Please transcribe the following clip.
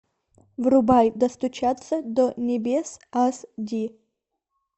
врубай достучаться до небес ас ди